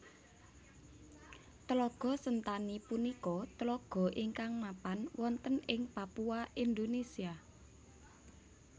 Tlaga Sentani punika tlaga ingkang mapan wonten ing Papua Indonesia